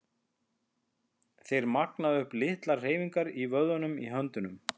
Þeir magna upp litlar hreyfingar í vöðvunum í höndunum.